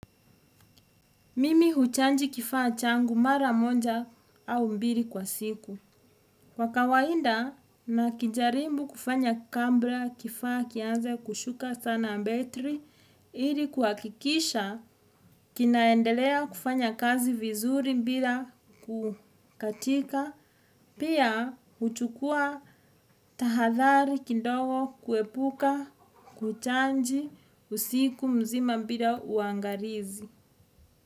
Mimi huchanji kifaa changu mara moja au mbili kwa siku. Kwa kawainda na kijaribu kufanya kabla kifaa kianze kushuka sana betri. Ili kahakikisha kinaendelea kufanya kazi vizuri bila kukatika. Pia huchukua tahathari kidogo kuepuka kuchaji usiku mzima bila uangalizi.